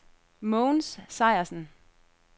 Mogens Sejersen